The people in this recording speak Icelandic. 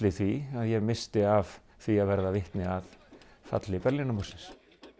því að ég missti af því að verða vitni að falli Berlínarmúrsins